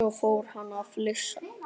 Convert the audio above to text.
Svo fór hann að flissa.